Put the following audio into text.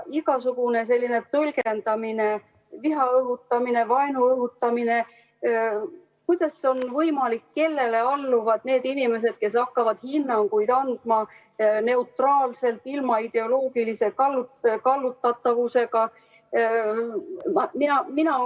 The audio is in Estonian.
Igasugune selline tõlgendamine, viha õhutamine, vaenu õhutamine – kellele alluvad need inimesed, kes hakkavad hinnanguid andma neutraalselt ilma ideoloogilise kallutatuseta?